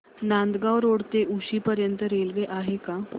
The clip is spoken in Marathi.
नांदगाव रोड ते उक्षी पर्यंत रेल्वे आहे का